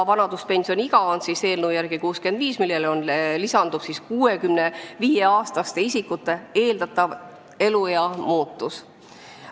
Vanaduspensioniiga on eelnõu järgi 65 aastat, millele lisandub 65-aastaste isikute eeldatav eluea muutus.